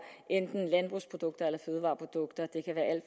enten landbrugsprodukter eller fødevareprodukter